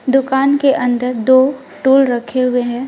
दुकान के अंदर दो टूल रखे हुए हैं।